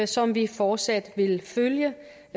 som vi fortsat vil følge